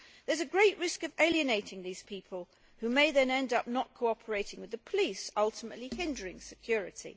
There is a great risk of alienating these people, who may then end up not cooperating with the police, ultimately hindering security.